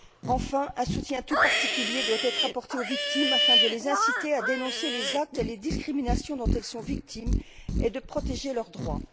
Enfin, un soutien tout particulier doit être apporté aux victimes, afin de les inciter à dénoncer les actes et les discriminations dont elles sont victimes, et de protéger leurs droits.